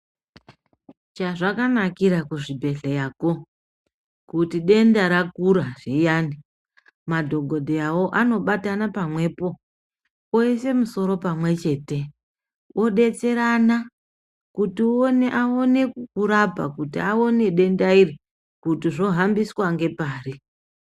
Chazvakanakira kuzvibhehlera ko kuti denda rakura zviyani, madhogodheyawo anobatana pamwepo oise musoro pamwechete odetserana kuti aone kukurapa kuti aone denda iri kuti zvohambiswa ngepari.